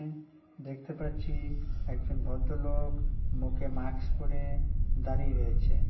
উম দেখতে পাচ্ছি-ই একজন ভদ্রলো-ওক মুখে মাস্ক পরে-এ দাঁড়িয়ে রয়েছে।